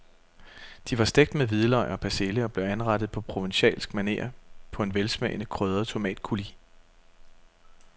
De var stegt med hvidløg og persille og blev anrettet på provencalsk maner på en velsmagende krydret tomatcoulis.